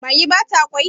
mage ba ta kwai?